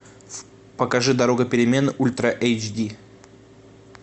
покажи дорога перемен ультра эйч ди